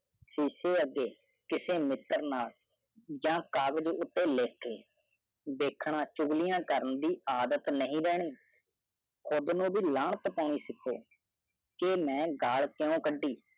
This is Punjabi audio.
ਸ਼ੀਸ਼ੇ ਅਗੇ ਕਿਸੇ ਮਿੱਤਰ ਨਾਲ ਜਾ ਕਾਗਜ ਉਤੇ ਲਿਖ ਕੇ ਦੇਖਣਾ ਚੁਗਲੀਆਂ ਕਰਨੇ ਦੀ ਆਦਤ ਨਹੀਂ ਰਹਿਣੀ ਕੁੜ੍ਹ ਨੂੰ ਵੀ ਲਾਨਤ ਪਾਉਣੀ ਸੇਖੋਂ ਕਿ ਮੈਂ ਗੱਲ ਕਿਊ ਕਡੀ